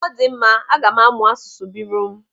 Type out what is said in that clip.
Ọdịmma, aga m amụ asụsụ Birọm.